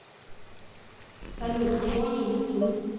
салют джони ютуб